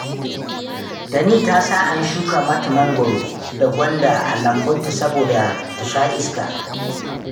Tani ta sa an shuka mata mangwaro da gwanda a lambunta saboda ta sha iska